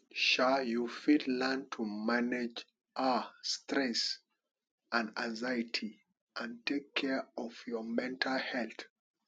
um you fit learn to manage um stress and anxiety and take care of your mental health